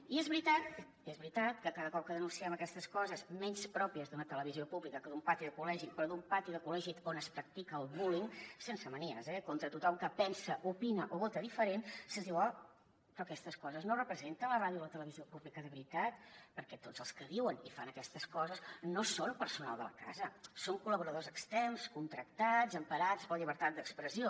i és veritat és veritat que cada cop que denunciem aquestes coses menys pròpies d’una televisió pública que d’un pati de col·legi però d’un pati de col·legi on es practica el bullying sense manies eh contra tothom que pensa opina o vota diferent se’ns diu oh però aquestes coses no representen la ràdio i la televisió públiques de veritat perquè tots els que diuen i fan aquestes coses no són personal de la casa són col·laboradors externs contractats emparats per la llibertat d’expressió